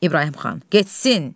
İbrahim xan, getsin.